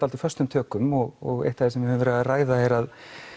föstum tökum og eitt af því sem við höfum verið að ræða er að